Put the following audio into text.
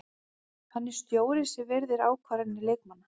Hann er stjóri sem virðir ákvarðanir leikmanna.